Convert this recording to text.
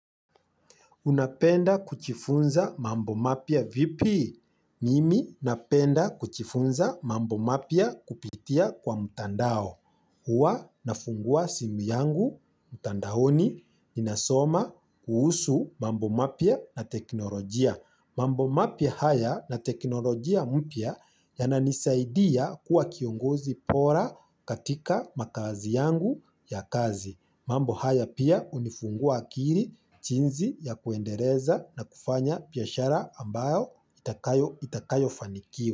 Unapenda kujifunza mambo mapya vipi? Mimi napenda kujifunza mambo mapya kupitia kwa mtandao. Uwa nafungua simu yangu mtandaoni inasoma kuhusu mambo mapya na teknolojia. Mambo mapia haya na teknolojia mpya yananisaidia kuwa kiongozi bora katika makazi yangu ya kazi. Mambo haya pia unifungua akili jinsi ya kuendeleza na kufanya biashara ambayo itakayo fanikii.